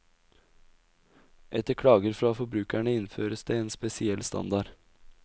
Etter klager fra forbrukerne innføres en spesiell standard.